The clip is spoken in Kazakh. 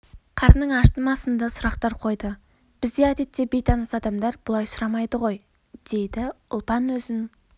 қарның ашты ма сынды сұрақтар қойды бізде әдетте бейтаныс адамдар бұлай сұрамайды ғой дейді ұлпан өзің